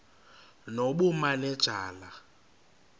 nobumanejala